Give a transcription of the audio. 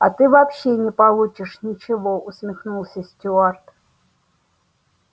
а ты вообще не получишь ничего усмехнулся стюарт